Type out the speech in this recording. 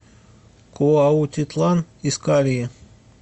куаутитлан искальи